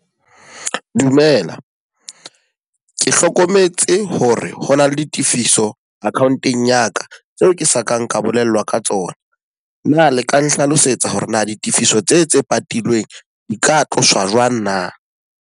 Dumela, ke hlokometse hore hona le di tifiso account-eng ya ka, tseo ke sa kang ka bolellwa ka tsona. Na le ka nhlalosetsa hore na ditifiso tse tse patilweng di ka tloswa jwang na?